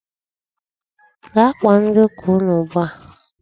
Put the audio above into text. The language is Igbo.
Gaa kpọọ ndị ụka unu ugbu a!